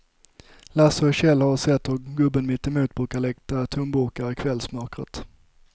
Lasse och Kjell har sett hur gubben mittemot brukar leta tomburkar i kvällsmörkret.